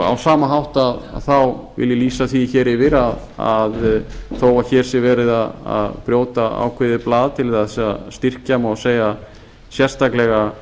á sama hátt vil ég lýsa því yfir að þó að hér sé verið að brjóta ákveðið blað til að styrkja má segja sérstaklega